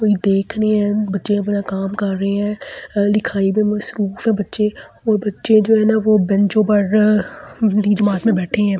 कोई देख नहीं है बच्चे अपना काम कर रहे हैं लिखाई में मसरूफ है बच्चे और बच्चे जो है ना वो बेंचों पर जमात में बैठे हैं।